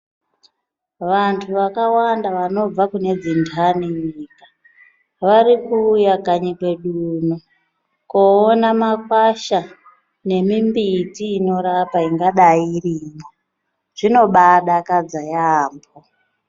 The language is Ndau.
Vantu vakawanda vanobva kune dzindani munyika varikuuya kanyi kwedu uno. Koona makwasha nemimbiti inorapa ingadai irimwo, zvinobadakadza yaambo.